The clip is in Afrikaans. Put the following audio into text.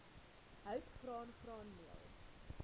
hout graan graanmeel